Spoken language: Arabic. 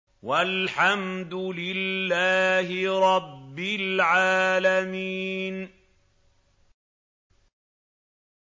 وَالْحَمْدُ لِلَّهِ رَبِّ الْعَالَمِينَ